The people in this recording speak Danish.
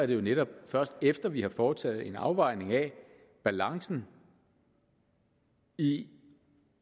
det jo netop først efter at vi har foretaget en afvejning af balancen i